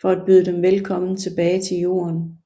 for at byde dem velkommen tilbage til Jorden